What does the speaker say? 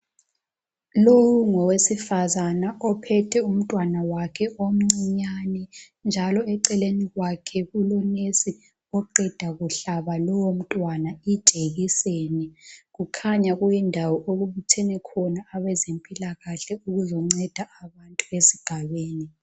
Lowo ngowesifazana ophethe umntwana wakhe omncinyane njalo eceleni kwakhe kulonesi oqeda kuhlaba lowomntwana ijekiseni. Kukhanya kuyindawo okubuthene khona abezempilakahle ukuzonceda abantu besigabeni.